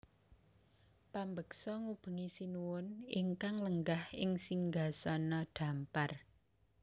Pambeksa ngubengi Sinuhun ingkang lenggah ing singgasana dhampar